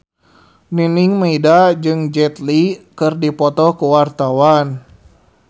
Nining Meida jeung Jet Li keur dipoto ku wartawan